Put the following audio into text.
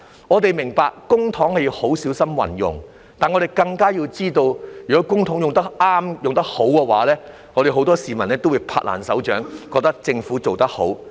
我們明白，公帑要很小心運用，但我們更加知道，如果公帑用得適當、用得好的話，很多市民都會"拍爛手掌"，覺得政府做得好。